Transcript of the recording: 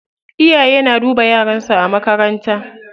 Iyaye na duba yaran su a makarantar.